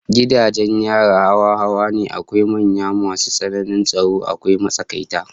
Gidajen yari hawa hawa ne, akwai manyan masu tsananin tsaro, akwai matsakaita